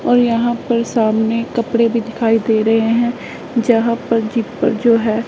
और यहां पर सामने कपड़े भी दिखाई दे रहे हैं जहां पर जी पर जो है।